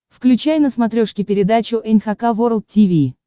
включай на смотрешке передачу эн эйч кей волд ти ви